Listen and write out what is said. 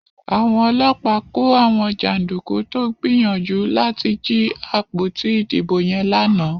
Àwọn ọlọ́pàá kò àwọn janduku tó gbìyànjú láti jí àpótí ìdìbò yen lànà.